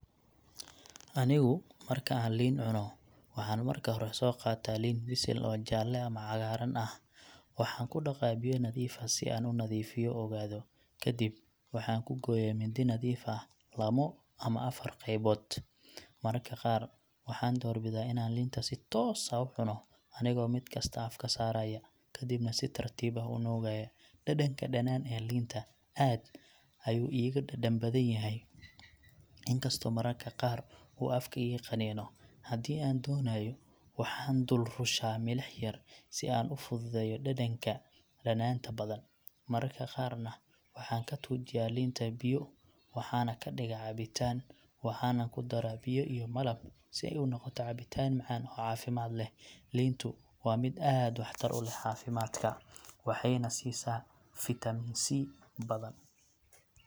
Anigu marka aan liin cuno, waxaan marka hore soo qaataa liin bisil oo jaalle ama cagaaran ah. Waxaan ku dhaqaa biyo nadiif ah si aan u nadiifiyo oogado. Kadib, waxaan ku gooyaa mindi nadiif ah lamo ama afar qaybood. Mararka qaar, waxaan doorbidaa inaan liinta si toos ah u cuno, anigoo mid kasta afka saaraya, kadibna si tartiib ah u nuugaya. Dhadhanka dhanaan ee liinta aad ayuu iiga dhadhan badan yahay, inkastoo mararka qaar uu afka iga qaniino. Haddii aan doonayo, waxaan ku dul rushaa milix yar si uu u fududeeyo dhadhanka dhanaanta badan. Mararka qaarna, waxaan ka tuujiyaa liinta biyo, waxana ka dhigaa cabitaan, waxaana ku daraa biyo iyo malab si ay u noqoto cabitaan macaan oo caafimaad leh. Liintu waa mid aad waxtar u leh caafimaadka, waxayna siisaa vitamiin C badan.